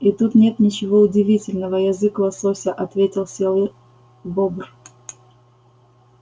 и тут нет ничего удивительного язык лосося ответил серый бобр